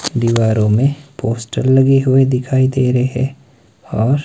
दीवारों में पोस्ट लगे हुए दिखाई दे रहें और--